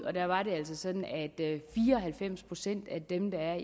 og da var det altså sådan at fire og halvfems procent af dem der